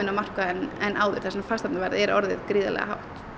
á markaðinn en áður þar sem fasteignaverð er orðið gríðarlega hátt